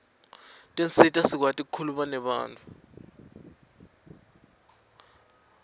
tisisita sikuati kukhuluma nebantfu